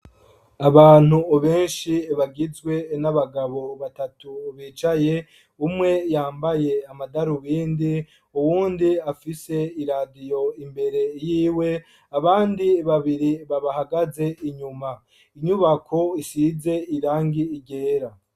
Abantu ubenshi bagizwe n'abagabo batatu ubicaye umwe yambaye amadaru bindi uwundi afise iradiyo imbere yiwe abandi babiri babahagaze inyuma inyubako isize irangi igera.